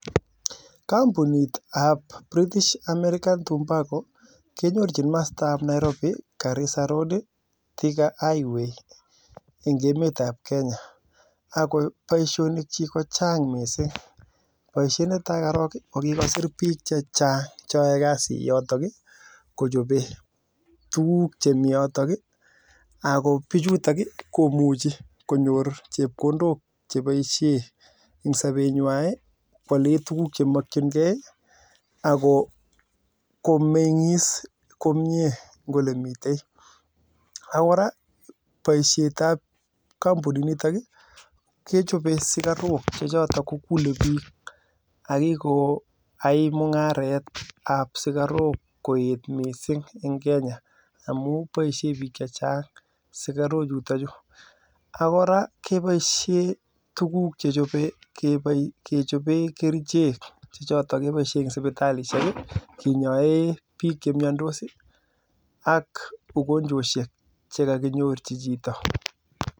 Kinyorchin masta ab Nairobi garisa road thika highway ako boishonik chik kochang mising baishet netai korok ii kikosir bik chechang cheae kasi yotok ii kochope tukuk chemii yotok ako koraa baishet ab kampunit nitok ii kechope sikarok chechotok kokulei bik akikoai mungaret ab sikarok koet missing eng kenya ako koraa kebaishei kechopei kerichek eng sipitalishek chok